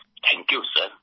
thank you sir